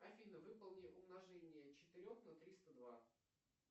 афина выполни умножение четырех на триста два